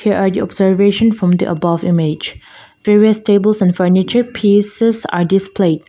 here are the observation from the above image various tables and furniture pieces are displayed.